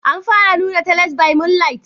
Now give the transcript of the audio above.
Ana fara nuna "tales by moonlight"?